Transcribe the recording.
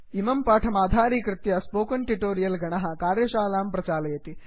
इमं पाठमाधारीकृत्य spoken tutorial गणः कार्यशालां प्रचालयति